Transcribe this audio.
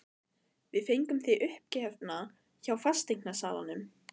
Við fengum þig uppgefna hjá fasteignasalanum.